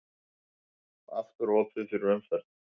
Aftur opið fyrir umferð